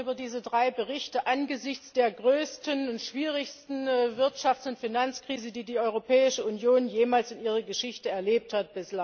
Wir sprechen über diese drei Berichte im Angesicht der größten und schwierigsten Wirtschafts und Finanzkrise, die die Europäische Union bislang in ihrer Geschichte erlebt hat.